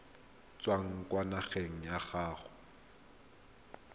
tswang kwa ngakeng ya gago